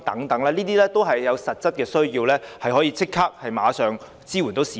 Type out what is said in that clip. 這些措施均有實際需要，可以即時支援市民。